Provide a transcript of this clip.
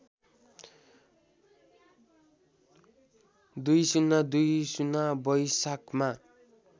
२०२० वैशाखमा